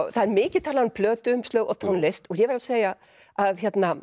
það er mikið talað um plötuumslög og tónlist og ég verð að segja að